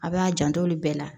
A b'a janto olu bɛɛ la